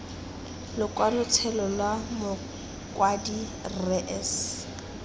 lokwalotshelo lwa mokwadi rre s